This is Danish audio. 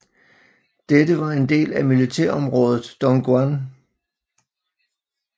Dette var en del af militærområdet Dongguan